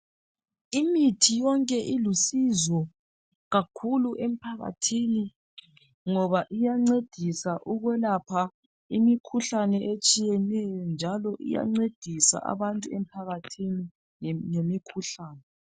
Imithi yonke ilusizo kakhulu emphakathini ngoba iyancedisa ukwelapha imikhuhlane etshiyeneyo njalo iyancedisa abantu emphakathini ngemikhuhlane.